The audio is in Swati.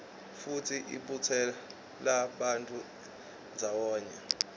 futsi ibutsela bantfu ndzawonye